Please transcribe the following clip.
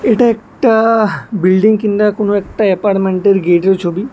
এটা একটা বিল্ডিং কিংঙ্গা কোনো একটা অ্যাপার্মেন্টের গেটের ছবি।